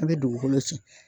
A' bɛ dugukolo sɛngɛn.